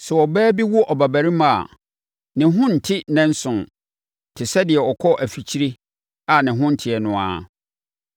“Sɛ ɔbaa bi wo ɔbabarima a, ne ho nnte nnanson, te sɛ deɛ ɔkɔ afikyire a ne ho nteɛ no ara.